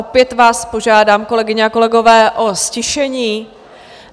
Opět vás požádám, kolegyně a kolegové, o ztišení.